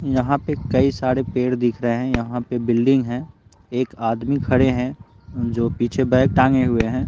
यहाँ पे कई सारे पेड़ दिख रहे हैं यहाँ पे बिल्डिंग है एक आदमी खड़े हैं जो पीछे बैग टांगे हुए हैं।